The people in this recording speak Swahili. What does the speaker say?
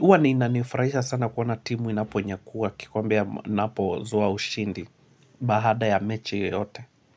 huwa nina nifurahisha sana kuona timu inaponyakua kikombe inapo zoa ushindi baada ya mechi yote.